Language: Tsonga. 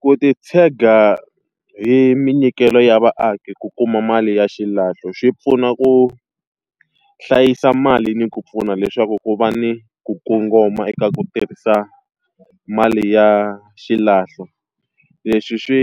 Ku ti tshega hi minyikelo ya vaaki ku kuma mali ya xilahlo xi pfuna ku hlayisa mali ni ku pfuna leswaku ku va ni ku kongoma eka ku tirhisa mali ya xilahlo. Leswi swi